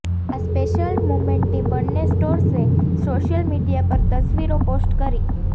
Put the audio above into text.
આ સ્પેશલ મોમેન્ટની બંને સ્ટોર્સે સોશિયલ મીડિયા પર તસવીરો પોસ્ટ કરી